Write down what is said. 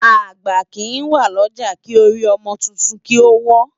Agbá ki wá Loja ki ôri òmò tútún ki ó wò